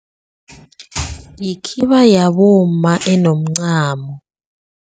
Yikhiba yabomma enomncamo.